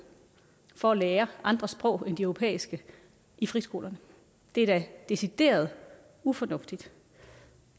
for at lære andre sprog end de europæiske i friskolerne det er da decideret ufornuftigt